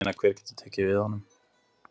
Ég meina hver getur tekið við honum?